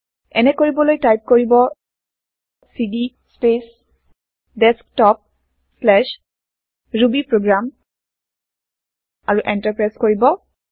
এনে কৰিবলৈ টাইপ কৰিব চিডি স্পেচDesktoprubyprogram আৰু এন্টাৰ প্ৰেছ কৰিব